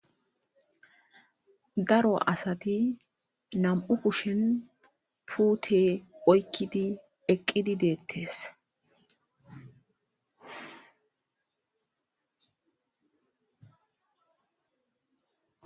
daro asati nam7u kushen puute oykkidi eqqidi deettes